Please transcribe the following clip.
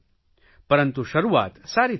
પરંતુ શરૂઆત સારી થઇ છે